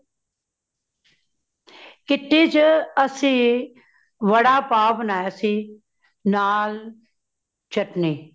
kitty ਚ ਅਸੀ, ਵੜਾ ਪਾਓ ਬਣਾਇਆ ਸੀ , ਨਾਲ ਚਟਣੀ